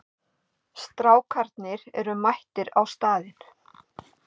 Strákarnir eru mættir á staðinn.